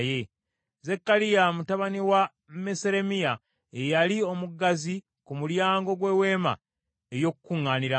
Zekkaliya mutabani wa Meseremiya ye yali omuggazi ku mulyango gw’Eweema ey’Okukuŋŋaanirangamu.